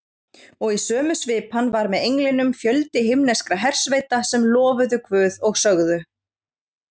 Og í sömu svipan var með englinum fjöldi himneskra hersveita sem lofuðu Guð og sögðu: